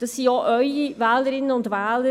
Das sind auch Ihre Wählerinnen und Wähler.